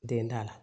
Den da la